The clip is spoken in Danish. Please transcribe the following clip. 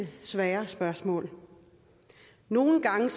svære spørgsmål nogle gange